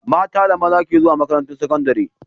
Mata da maza ke zuwa makaran tar sakandari